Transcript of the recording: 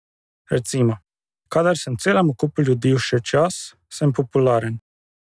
Recimo: 'Kadar sem celemu kupu ljudi všeč jaz, sem popularen.